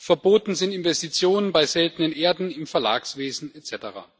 verboten sind Investitionen bei Seltenen Erden, im Verlagswesen etc.